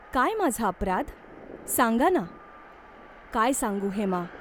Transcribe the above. काय माझा अपराध ? सांगा ना !" "काय सांगू हेमा !